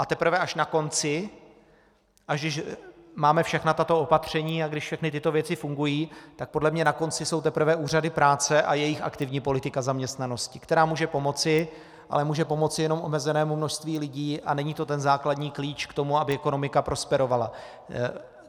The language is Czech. A teprve až na konci, až když máme všechna tato opatření a když všechny tyto věci fungují, tak podle mne na konci jsou teprve úřady práce a jejich aktivní politika zaměstnanosti, která může pomoci, ale může pomoci jenom omezenému množství lidí a není to ten základní klíč k tomu, aby ekonomika prosperovala.